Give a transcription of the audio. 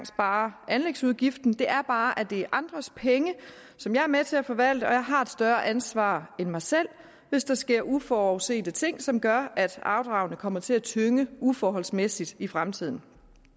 sparer anlægsudgiften er bare at det er andres penge som jeg er med til at forvalte og at jeg har et større ansvar end mig selv hvis der sker uforudsete ting som gør at afdragene kommer til at tynge uforholdsmæssigt i fremtiden